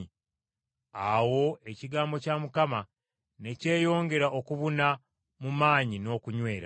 Awo ekigambo kya Mukama ne kyeyongera okubuna mu maanyi n’okunywera.